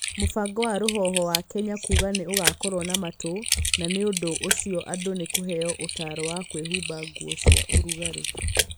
Mũbango wa rũhuho wa Kenya kuuga nĩ ũgũkorũo na matu na nĩ ũndũ ũcio andũ nĩ kũheo ũtaaro wa kwĩhumba nguo cia ũrugarĩ.